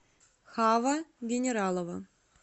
хава генералова